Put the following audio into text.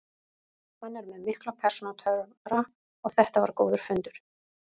Hann er með mikla persónutöfra og þetta var góður fundur.